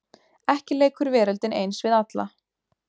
Ekki leikur veröldin eins við alla.